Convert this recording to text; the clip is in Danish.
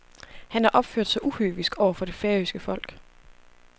Han har opført sig uhøvisk over for det færøske folk.